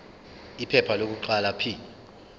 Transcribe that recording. iphepha lokuqala p